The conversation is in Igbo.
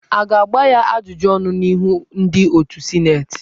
A ga-agba ya ajụjụ ọnụ n'ihu ndị otù sịnetị?